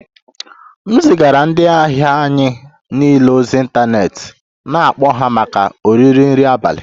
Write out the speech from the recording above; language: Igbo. M zigara ndị ahịa anyị niile ozi ịntanetị na-akpọ ha maka oriri nri abalị